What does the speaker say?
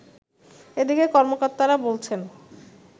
এদিকে কর্মকর্তারা বলছেন